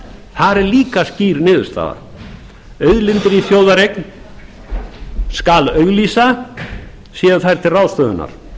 þar er líka skýr niðurstaða auðlindir í þjóðareign skal auglýsa séu þær til